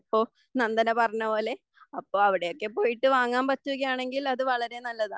നന്ദന പറഞ്ഞപോലെ അപ്പോൾ അവിടെയൊക്കെ പോയിട്ട് വാങ്ങാൻ പറ്റുകയാണെങ്കിൽ അത് വളരെ നല്ലതാണ്